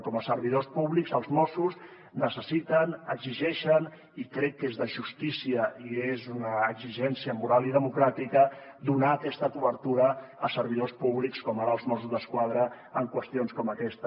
com a servidors públics els mossos ho necessiten ho exigeixen i crec que és de justícia i és una exigència moral i democràtica donar aquesta cobertura a servidors públics com ara els mossos d’esquadra en qüestions com aquesta